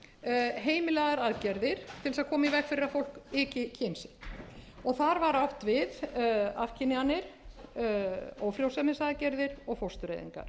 aðgerðir til þess að koma í veg fyrir að fólk auki kyn sitt þar var átt við afkynjanir ófrjósemisaðgerðir og fóstureyðingar